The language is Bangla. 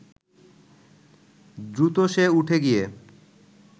দ্রুত সে উঠে গিয়ে